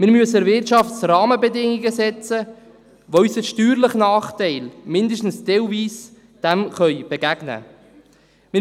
Wir müssen der Wirtschaft Rahmenbedingungen setzen, die unserem steuerlichen Nachteil zumindest teilweise begegnen können.